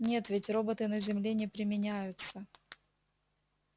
нет ведь роботы на земле не применяются